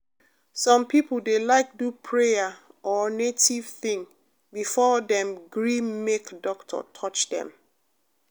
some people dey like do prayer or native thing before dem gree make doctor touch dem.